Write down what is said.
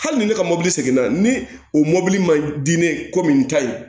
Hali ni ne ka mobili segin na ni o mɔbili man di ne ye komi n ta ye